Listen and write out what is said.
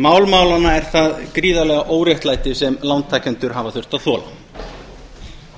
mál málanna er það gríðarlega óréttlæti sem lántakendur hafa þurft að þola